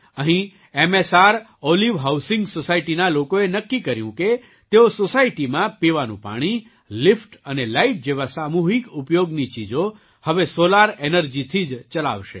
અહીં મ્સ્રોલિવ housing society ના લોકોએ નક્કી કર્યું કે તેઓ સૉસાયટીમાં પીવાનું પાણી લિફ્ટ અને લાઇટ જેવા સામૂહિક ઉપયોગની ચીજો હવે સૉલાર એનર્જીથી જ ચલાવશે